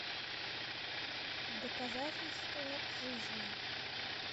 доказательство жизни